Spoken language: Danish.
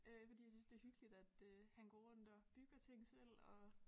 Øh fordi jeg synes det hyggeligt at øh han går rundt og bygger ting selv og